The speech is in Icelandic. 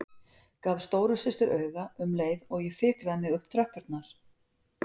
Gaf stóru systur auga um leið og ég fikraði mig upp tröppurnar.